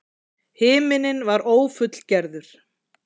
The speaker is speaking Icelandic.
Himinninn var ófullgerður.